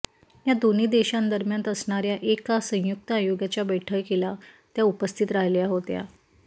या दोन्ही देशांदरम्यान असणाऱया एका संयुक्त आयोगाच्या बैठकीला त्या उपस्थित राहिल्या होत्या